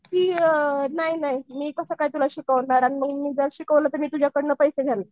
की नाही नाही मी कसं काय तुला शिकवणार मग मी जर तुला शिकवलं तर तुझ्याकडनं पैसे घेणार.